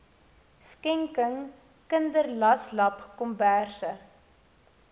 skenking kinderlaslapkomberse